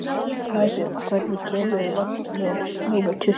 Snæbjörg, hvenær kemur vagn númer tuttugu og sjö?